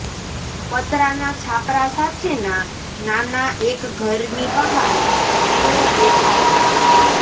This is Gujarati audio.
પતરાંનાં છાપરાં સાથેના નાના એક ઘરની બહાર તેઓ બેઠા હતા